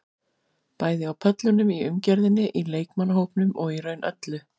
Bæði á pöllunum, í umgjörðinni, í leikmannahópnum og í raun öllu.